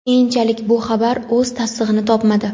Keyinchalik, bu xabar o‘z tasdig‘ini topmadi.